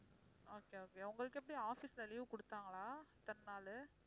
okay okay உங்களுக்கு எப்படி office ல leave கொடுத்தாங்களா இத்தனை நாளு?